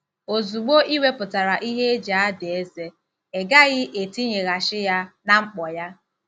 " Ozugbo ị wepụtara ihe eji ada eze, ị gaghị etinyeghachi ya na mkpọ ya.